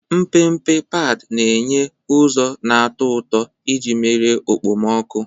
Mpempe padi na-enye ụzọ na-atọ ụtọ iji merie okpomọkụ.